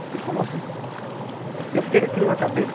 Ele falou assim, eu fiquei com aquilo na cabeça,